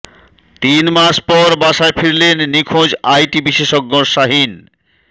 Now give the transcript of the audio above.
তিন মাস পর বাসায় ফিরলেন নিখোঁজ আইটি বিশেষজ্ঞ শাহীন